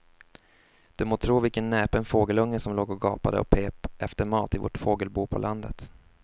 Du må tro vilken näpen fågelunge som låg och gapade och pep efter mat i vårt fågelbo på landet.